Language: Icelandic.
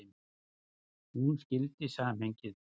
Hún skildi samhengið.